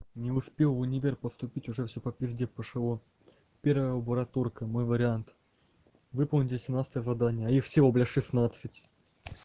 не успел в университет поступить уже все по пизде пошло первая лабораторная мой вариант выполните семнадцатое задание а их всего блядь шестнадцать